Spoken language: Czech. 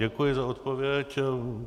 Děkuji za odpověď.